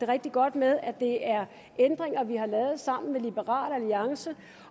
rigtig godt med at det er ændringer vi har lavet sammen med liberal alliance